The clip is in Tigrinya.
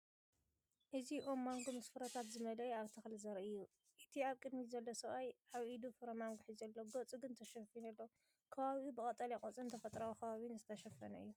እዚ ኦም ማንጎ ምስ ፍረታት ዝመልአ ኣብ ተኽሊ ዘርኢ እዩ። እቲ ኣብ ቅድሚት ዘሎ ሰብኣይ ኣብ ኢዱ ፍረ ማንጎ ሒዙ ኣሎ፡ ገጹ ግን ተሸፊኑ ኣሎ። ከባቢኡ ብቀጠልያ ቆጽልን ተፈጥሮኣዊ ከባቢን ዝተሸፈነ እዩ።